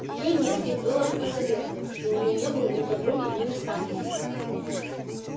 ей не с кем было посоветоваться и у неё не было ни подруги ни наставницы